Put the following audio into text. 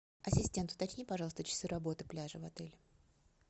ассистент уточни пожалуйста часы работы пляжа в отеле